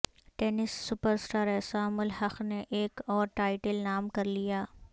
tennis super star Aisam ul-Haq نے ایک اور ٹائٹل نام کرلیا